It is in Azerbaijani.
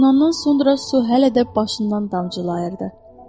Yunundan sonra su hələ də başından damcılayırdı.